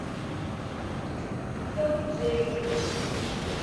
том и джерри